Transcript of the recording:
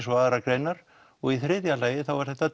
og aðrar greinar og í þriðja lagi er þetta